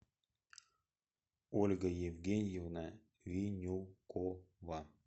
ольга евгеньевна винюкова